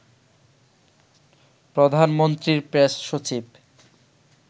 প্রধানমন্ত্রীর প্রেস সচিব